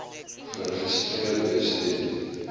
geregistreer wees ten